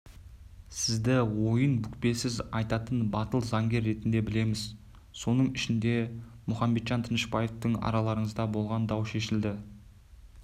сізді ойын бүкпесіз айтатын батыл заңгер ретінде білеміз соның ішінде мұхамеджан тынышбаевпен араларыңызда болған дау шешілді